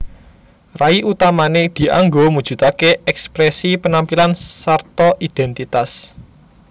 Rai utamané dianggo mujudaké èksprèsi penampilan sarta idhèntitas